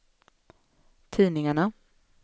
tidningarna